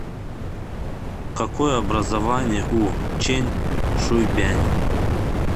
какое образование у чэнь шуйбянь